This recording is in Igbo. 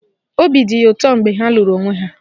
Obi dị ya ụtọ mgbe ha lụrụ onwe ha.